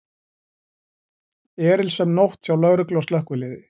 Erilsöm nótt hjá lögreglu og slökkviliði